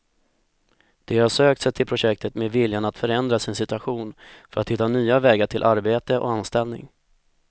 De har sökt sig till projektet med viljan att förändra sin situation för att hitta nya vägar till arbete och anställning.